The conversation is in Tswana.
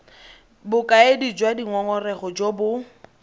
bokaedi jwa dingongorego jo bo